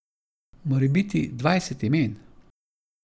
Morebiti dvajset imen.